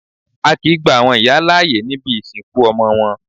A kìí gba àwọn ìyá láàyè níbi ìsìnkú ọmọ wọn.